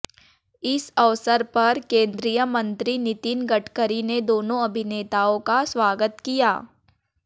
इस अवसर पर केंद्रीय मंत्री नितीन गडकरी ने दोनों अभिनेताओं का स्वागत किया